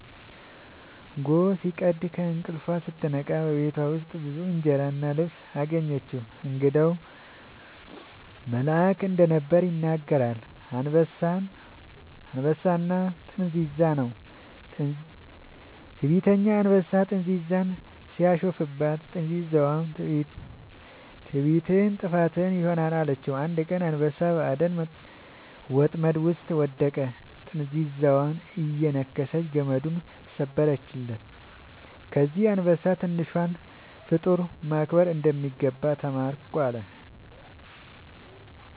ጎህ ሲቀድ ከእንቅልፏ ስትነቃ በፊቷ ብዙ እንጀራ እና ልብስ አገኘች። እንግዳው መልአክ እንደነበር ይነገራል። «አንበሳና ጥንዚዛ» ነው። ትዕቢተኛ አንበሳ ጥንዚዛን ሲያሾፍባት፣ ጥንዚዛዋ «ትዕቢትህ ጥፋትህ ይሆናል» አለችው። አንድ ቀን አንበሳ በአደን ወጥመድ ውስጥ ወደቀ፤ ጥንዚዛዋ እየነከሰች ገመዱን ሰበረችለት። ከዚያ አንበሳ «ትንሿን ፍጡር ማክበር እንደሚገባ ተማርኩ» አለ